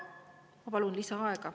Ma palun lisaaega.